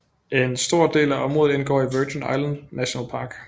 En stor del af området indgår i Virgin Islands National Park